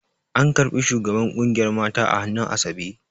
An ƙarɓi shugaban ƙungiyar mata a hannun asabe